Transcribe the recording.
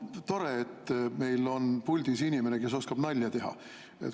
Tore, et meil on puldis inimene, kes oskab nalja teha.